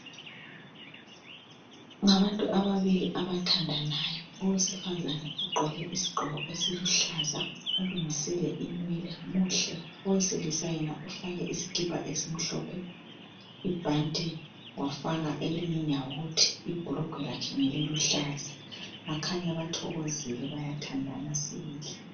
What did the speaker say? Ngabantu ababili abathandanayo. Owesifazane ugqoke isigqoko esiluhlaza ulungisile inwele muhle . Owesilisa yena ufake isikipa esimhlophe, ibhanti wafaka eliyinyawuthi. Ibhurugwe lakhe ngeliluhlaza. Bakhanya bathokozile bayathandana sibili.